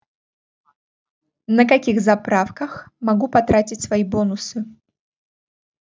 на каких заправках могу потратить свои бонусы